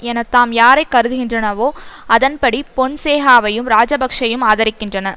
என தாம் யாரைக் கருதுகின்றனவோ அதன்படி பொன்சேகாவையும் இராஜப்கஷவையும் ஆதரிக்கின்றன